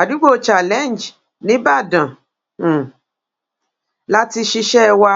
àdúgbò challenge níbàdàn um la ti ṣiṣẹ́ wa